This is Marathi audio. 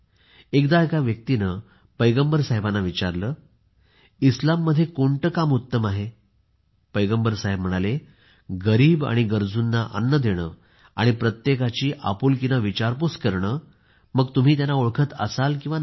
एकदा एका व्यक्तीने पैगंबरांना विचारले इस्लाममध्ये कोणते काम उत्तम आहे पैगंबर साहेब म्हणाले गरीब आणि गरजूंना अन्न देणे आणि प्रत्येकाची आपुलकीने विचारपूस करणेमग तुम्ही त्यांना ओळखत असाल किंवा नाही